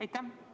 Aitäh!